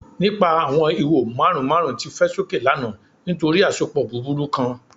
Nipa awọn iho marun marun ti fẹ soke lana nitori asopọ buburu kan